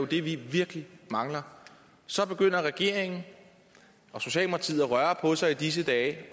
det vi vi mangler så begynder regeringen og socialdemokratiet at røre på sig i disse dage